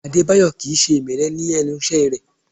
Adébáyọ̀ Kì í ṣe ìmẹ́lẹ́ lẹ́nu iṣẹ́ rẹ̀